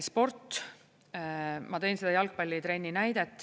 Sport – ma tõin selle jalgpallitrenni näite.